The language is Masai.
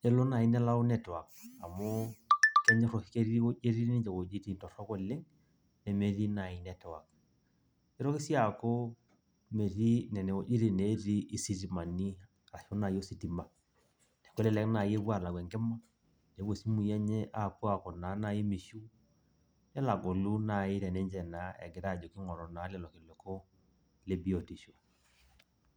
kelo naaji nelau network amu kenyor ketii ninche iweujitin torok oleng. nemetii naai network nitoki sii aaku metii nene wuejitin netii isitimani aashu naji ositima. kelelek naaji epuo aalau enkima nepo isimui enye aku naaji mishiu, nepuo anyamalu egira naaji aingoru leleo kiliku le biotisho.